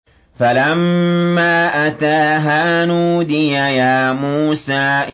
فَلَمَّا أَتَاهَا نُودِيَ يَا مُوسَىٰ